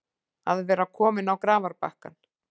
Að vera kominn á grafarbakkann